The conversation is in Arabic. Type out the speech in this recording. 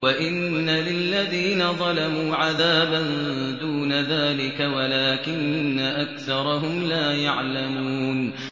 وَإِنَّ لِلَّذِينَ ظَلَمُوا عَذَابًا دُونَ ذَٰلِكَ وَلَٰكِنَّ أَكْثَرَهُمْ لَا يَعْلَمُونَ